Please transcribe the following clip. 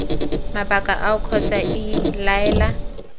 mabaka ao kgotsa iii laela